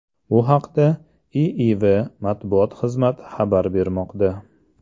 Bu haqda IIVmatbuot xizmati xabar bermoqda .